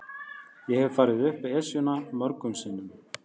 Ég hef farið upp Esjuna mörgum sinnum.